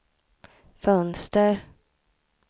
fönster